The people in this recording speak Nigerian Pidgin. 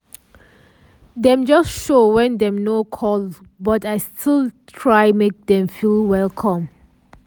dem just show wen dem nor call but i still try make dem feel welcome.